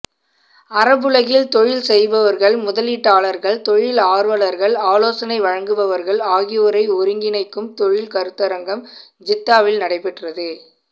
அரபுலகில் தொழில் செய்பவர்கள்முதளீட்டாளர்கள் தொழில் ஆர்வலர்கள் ஆலோசனை வழங்குபவர்கள் ஆகியோரைஒருங்கிணைக்கும் தொழில் கருத்தரங்கம்ஜித்தாவில் நடைபெற்றது